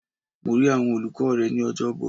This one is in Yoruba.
Mo rí àwọn olùkọ́ rẹ ní Ọjọ́bọ̀.